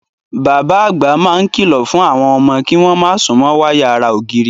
Bàbá àgbà máa ń kìlọ̀ fún àwọn ọmọ kí wọ́n má súnmọ́ wáyà ara ògiri.